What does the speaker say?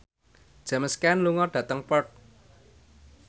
James Caan lunga dhateng Perth